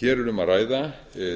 hér er um að ræða